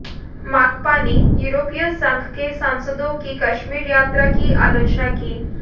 माकपा ने यूरोपीय संघ के सांसदों की कश्मीर यात्रा की आलोचना की